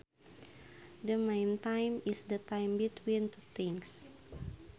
The meantime is the time between two things